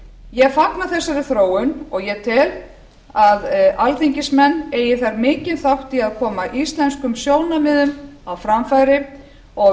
ég fagna þessari þróun og tel að alþingismenn eigi þar mikinn þátt í að koma íslenskum sjónarmiðum á framfæri og